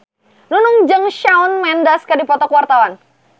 Nunung jeung Shawn Mendes keur dipoto ku wartawan